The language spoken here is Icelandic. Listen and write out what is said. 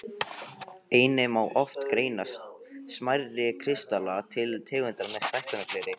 Einnig má oft greina smærri kristalla til tegundar með stækkunargleri.